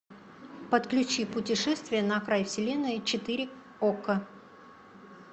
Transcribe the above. подключи путешествие на край вселенной четыре окко